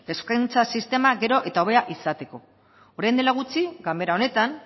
hezkuntza sistema gero eta hobea izateko orain dela gutxi ganbara honetan